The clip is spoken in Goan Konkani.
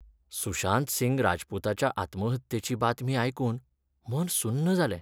सुशांत सिंह राजपूताच्या आत्महत्येची बातमी आयकून मन सुन्न जालें.